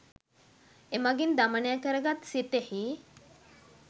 එමඟින් දමනය කරගත් සිතෙහි